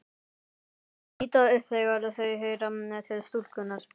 Þau líta upp þegar þau heyra til stúlkunnar.